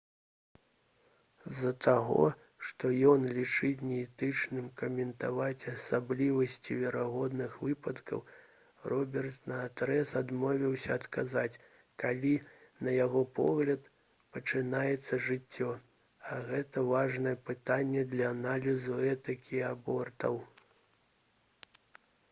з-за таго што ён лічыць неэтычным каментаваць асаблівасці верагодных выпадкаў робертс наадрэз адмовіўся адказаць калі на яго погляд пачынаецца жыццё а гэта важнае пытанне для аналізу этыкі абортаў